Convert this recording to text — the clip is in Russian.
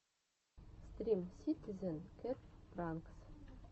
стрим ситизен кэт пранкс